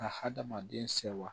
Ka hadamaden sewa